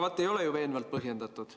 No aga ei ole ju veenvalt põhjendatud.